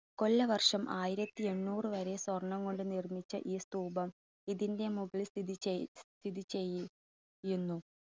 കൊല്ലവർഷം ആയിരത്തി എണ്ണൂറ് വരെ സ്വർണ്ണം കൊണ്ട് നിർമ്മിച്ച ഈ സ്തൂപം ഇതിൻറെ മുകളിൽ സ്ഥിതി ചെയ്, സ്ഥിതി ചെയ്~ചെയ്യുന്നു.